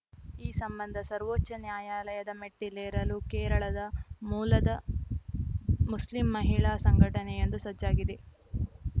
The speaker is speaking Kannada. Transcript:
ಈ ಸಂಬಂಧ ಸರ್ವೋಚ್ಚ ನ್ಯಾಯಾಲಯದ ಮೆಟ್ಟಿಲೇರಲು ಕೇರಳದ ಮೂಲದ ಮುಸ್ಲಿಂ ಮಹಿಳಾ ಸಂಘಟನೆಯೊಂದು ಸಜ್ಜಾಗಿದೆ